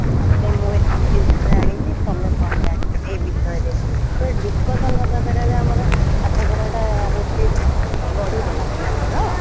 ଜେ ମୁଁ ଏତିକି ଜିନିଷ ଜାଣିଚି ତମେ କ'ଣ ଜାଣିଛ ଏ ବିଷୟରେ ସେ discussion ହବା ଦ୍ଵାରା ଆମର ପାଠ ପଢାଟା ହଉଛି ବଡ଼ିବନା ପିଲାଙ୍କର?